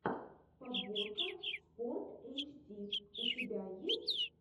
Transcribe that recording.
подборка спортэйчди у тебя есть